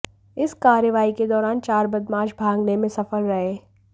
इस कार्रवाई के दौरान चार बदमाश भागने में सफल रहे